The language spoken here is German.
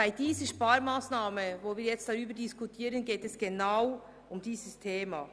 Bei der nun diskutierten Sparmassnahme geht es um genau dieses Thema.